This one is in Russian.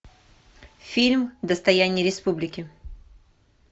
фильм достояние республики